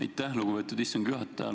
Aitäh, lugupeetud istungi juhataja!